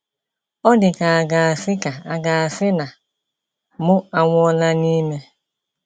Ọ dị ka a ga-asị ka a ga-asị na mụ anwụọla n’ime.